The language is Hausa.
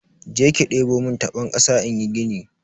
Jeki debo mun tabon kasa inyi gini.